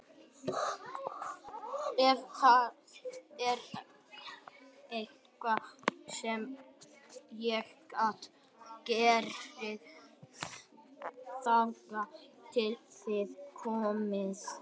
Ef það er eitthvað sem ég get gert þangað til þið komið